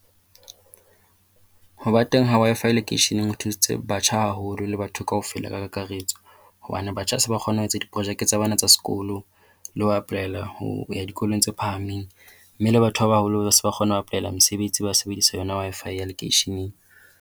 Ho ba teng ha Wi-Fi lekeisheneng ho thusitse batjha haholo le batho kaofela ka kakaretso hobane batjha ba se ba kgona ho etsa diporojeke tsa bona tsa sekolo le apolaela ho ya dikolong tse phahameng. Mme le batho ba baholo ba se ba kgona ho apolaela mesebetsi ba sebedisa yona Wi-Fi ya lekeisheneng.